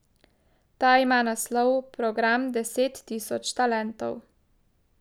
Ta ima naslov Program deset tisoč talentov.